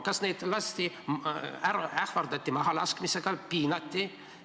Kas neid ähvardati mahalaskmisega, piinati?